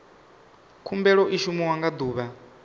khumbelo i shumiwa nga ḓuvha